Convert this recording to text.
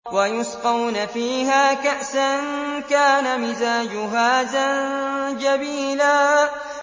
وَيُسْقَوْنَ فِيهَا كَأْسًا كَانَ مِزَاجُهَا زَنجَبِيلًا